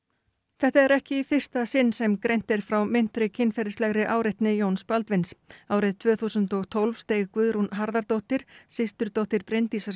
þetta er ekki í fyrsta sinn sem greint er frá meintri kynferðislegri áreitni Jóns Baldvins árið tvö þúsund og tólf steig Guðrún Harðardóttir systurdóttir Bryndísar